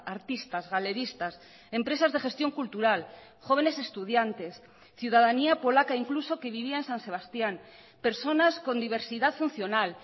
artistas galeristas empresas de gestión cultural jóvenes estudiantes ciudadanía polaca incluso que vivía en san sebastían personas con diversidad funcional